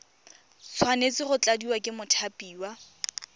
tshwanetse go tladiwa ke mothapiwa